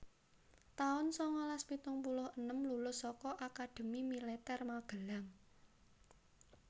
taun sangalas pitung puluh enem Lulus saka Akademi Militer Magelang